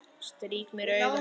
Strýk mér um magann.